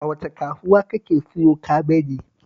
A wace kasuwa kake siyo kabeji?